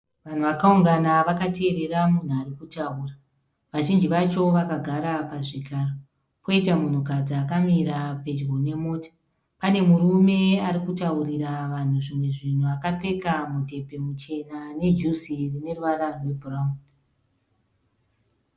Vanhu vakaungana vakateerera munhu arikutaura, vazhinji vacho vakagara pazvigaro, poita munhukadzi akamira pedyo nemota. Pane murume arikutaurira vanhu zvimwe zvinhu akapfeka mudhebhe muchena nejuzi rine ruvara rwebhurauni.